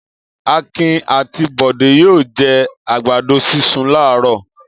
Akin àti Bọ̀dé yóò jẹ àgbàdo sísun láàárọ̀.